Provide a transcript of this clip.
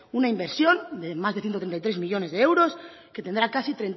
una inversión de más de ciento treinta y tres millónes de euros que tendrá casi